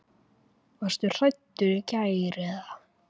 Varstu hrædd í gær eða?